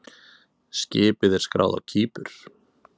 Skipið er skráð á Kípur.